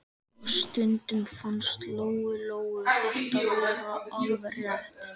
Og stundum fannst Lóu-Lóu þetta vera alveg rétt.